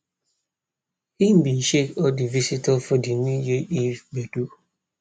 he bin shake all di visitor for di new year eve gbedu